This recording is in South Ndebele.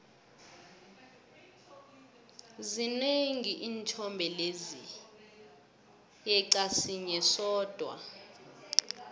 zinengi iinthombe lezi yeqa sinye sodwa